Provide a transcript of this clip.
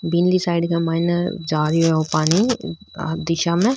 बिनली side के माईने जा रियो ओ पानी में।